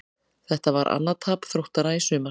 Þetta var annað tap Þróttara í sumar.